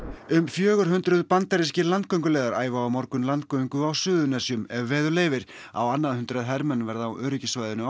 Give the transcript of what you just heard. um fjögur hundruð bandarískir landgönguliðar æfa á morgun landgöngu á Suðurnesjum ef veður leyfir á annað hundrað hermenn verða á öryggissvæðinu á